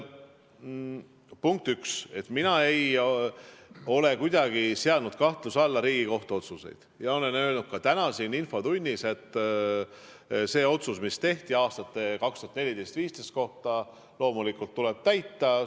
Punkt üks, mina ei ole kuidagi seadnud kahtluse alla Riigikohtu otsuseid ja olen öelnud ka täna siin infotunnis, et seda otsust, mis tehti aastate 2014–2015 kohta, tuleb loomulikult täita.